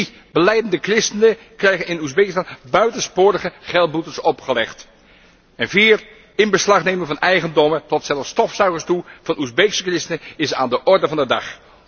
3 Belijdende christenen krijgen in Oezbekistan buitensporige geldboetes opgelegd. 4 Inbeslagname van eigendommen, tot zelfs stofzuigers toe, van Oezbeekse christenen is aan de orde van de dag.